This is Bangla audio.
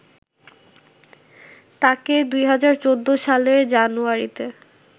তাকে ২০১৪ সালের জানুয়ারিতে